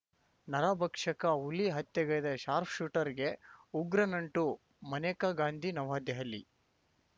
ನರಭಕ್ಷಕ ಹುಲಿ ಹತ್ಯೆಗೈದ ಶಾಪ್‌ರ್‍ಶೂಟರ್‌ಗೆ ಉಗ್ರ ನಂಟು ಮನೇಕಾ ಗಾಂಧಿ ನವದೆಹಲಿ